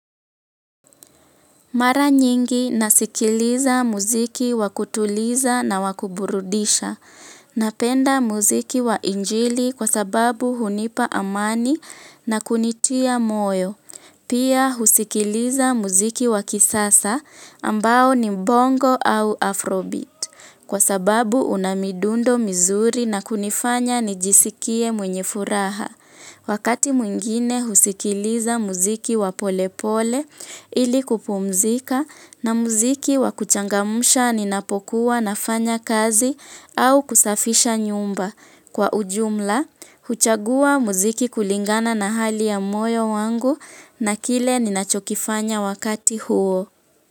Mara nyingi nasikiliza muziki wakutuliza na wakuburudisha. Napenda muziki wa injili kwa sababu hunipa amani na kunitia moyo. Pia husikiliza muziki wa kisasa ambao ni bongo au afrobeats kwa sababu una midundo mizuri na kunifanya nijisikie mwenye furaha. Wakati mwingine husikiliza muziki wa polepole ili kupumzika na muziki wakuchangamsha ninapokuwa nafanya kazi au kusafisha nyumba. Kwa ujumla, huchagua muziki kulingana na hali ya moyo wangu na kile ninachokifanya wakati huo.